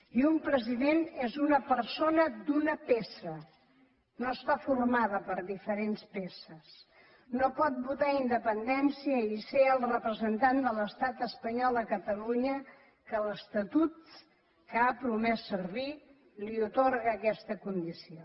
i un president és una persona d’una peça no està formada per diferents peces no pot votar independència i ser el representant de l’estat espanyol a catalunya que l’estatut que ha promès servir li atorga aquesta condició